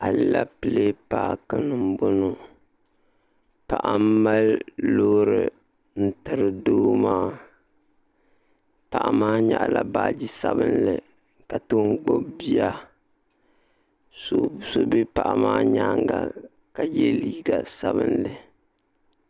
Alɛpilɛ paaki ni n bɔŋo paɣa n mali loori n tiri doo maa paɣa maa nyaɣi la baaji sabinli ka ton gbubi bia so bɛ paɣa maa nyaanga ka yɛ liiga sabinli.